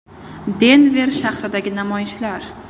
Denver shahridagi namoyishlar.